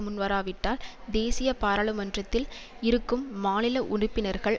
முன்வராவிட்டால் தேசிய பாராளுமன்றத்தில் இருக்கும் மாநில உறுப்பினர்கள்